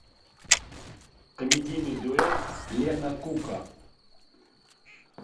комедийный дуэт лена кука